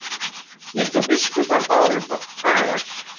líkt og biskupar báru bagal